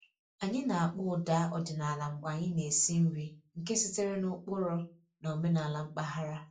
Anyị na-akpọ ụda ọdịnala mgbe anyị na-esi nri nke sitere n'ụkpụrụ na omenala mpaghara